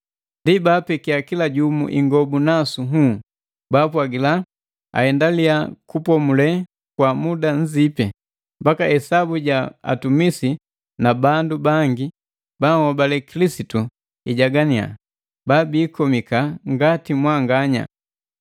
Ndi baapekia kila jumu ingobu nasu nhuu, baapwagila aendalia kupomule kwa muda nzipi, mbaki esabu ja atumisi na bandu bangi baahobale Kilisitu ijagania babiikomika ngati mwanganya.